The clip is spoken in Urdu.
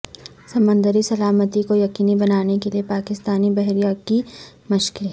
سمندری سلامتی کو یقینی بنانے کے لیے پاکستانی بحریہ کی مشقیں